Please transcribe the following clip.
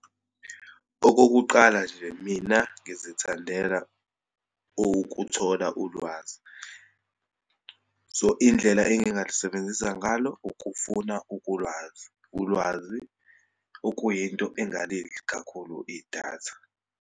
Okokuqala nje, mina ngizithandela ukuthola ulwazi. So, indlela engingalisebenzisa ngalo ukufuna ukulwazi, ulwazi, okuyinto engalidli kakhulu idatha.